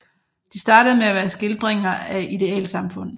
De startede med at være skildringer af idealsamfund